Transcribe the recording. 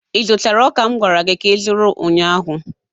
ị zụtara ọka m gwara gị ka ịzụrụ ụnyaahụ?